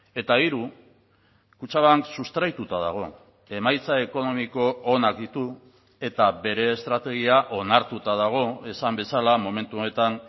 eta hiru kutxabank sustraituta dago emaitza ekonomiko onak ditu eta bere estrategia onartuta dago esan bezala momentu honetan